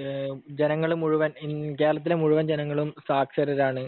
എഹ് ജനങ്ങൾ മുഴുവൻ കേരളത്തിലെ മുഴുവൻ ജനങ്ങളും സാക്ഷരരാണ്.